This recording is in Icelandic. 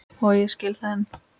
Og ég skil það enn.